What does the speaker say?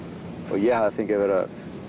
ég hafi fengið að vera